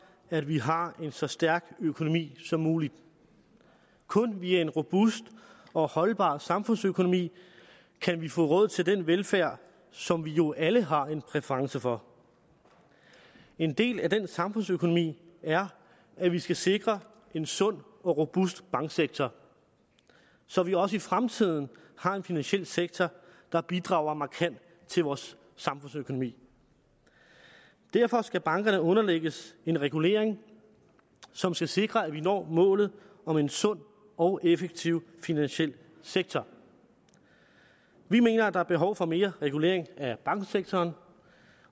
at vi har en så stærk økonomi som muligt kun via en robust og holdbar samfundsøkonomi kan vi få råd til den velfærd som vi jo alle har en præference for en del af den samfundsøkonomi er at vi skal sikre en sund og robust banksektor så vi også i fremtiden har en finansiel sektor der bidrager markant til vores samfundsøkonomi derfor skal bankerne underlægges en regulering som skal sikre at vi når målet om en sund og effektiv finansiel sektor vi mener at der er behov for mere regulering af banksektoren